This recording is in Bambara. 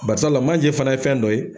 Barisala manje fɛnɛ ye fɛn dɔ ye